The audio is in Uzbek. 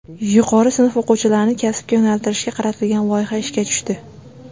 Yuqori sinf o‘quvchilarini kasbga yo‘naltirishga qaratilgan loyiha ishga tushdi.